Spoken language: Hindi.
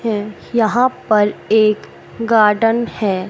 है यहां पर एक गार्डन है।